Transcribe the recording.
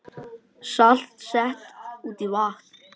Salt sett út í vatn